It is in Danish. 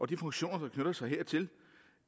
de funktioner der knytter sig hertil